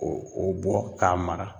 O o bɔ k'a mara